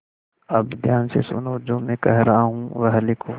अब ध्यान से सुनो जो मैं कह रहा हूँ वह लिखो